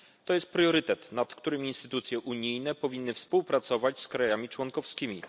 Jest to priorytet, nad którymi instytucje unijne powinny współpracować z krajami członkowskimi.